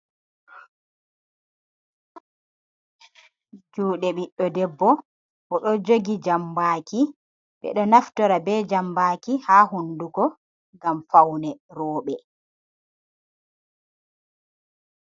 Juɗe ɓiɗdo debbo, o ɗo jogi jambaaki, ɓe ɗo naftira be jambaki ha hundugo, ngam faune rooɓe.